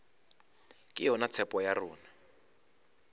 ke yona tshepo ya rena